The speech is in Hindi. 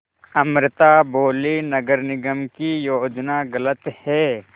अमृता बोलीं नगर निगम की योजना गलत है